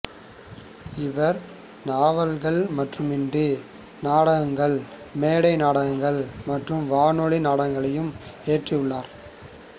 இவர் நாவல்கள் மட்டுமின்றி நாடகங்கள் மேடை நாடகங்கள் மற்றும் வானொலி நாடகங்களையும் இயற்றியுள்ளார்